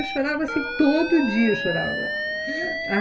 Eu chorava assim, todo dia eu chorava.